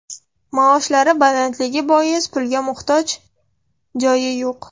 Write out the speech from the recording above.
Maoshlari balandligi bois, pulga muhtoj joyi yo‘q.